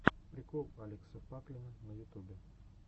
прикол алекса паклина на ютубе